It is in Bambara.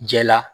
Jɛ la